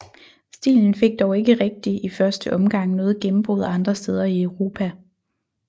Stilen fik dog ikke rigtig i første omgang noget gennembrud andre steder i Europa